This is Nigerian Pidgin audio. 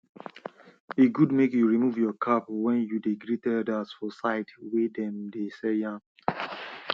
e de good make you remove your cap when you dey greet elders for side wey dem de sell yam